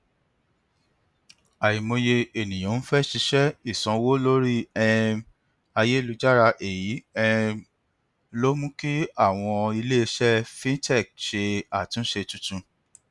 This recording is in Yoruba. àìmọye ènìyàn ń fẹ ṣíṣe ìsanwó lórí um ayélujára èyí um ló mú kí àwọn iléiṣẹ fintech ṣe àtúnṣe tuntun